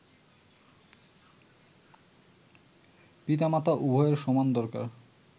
পিতামাতা-উভয়ের সমান দরকার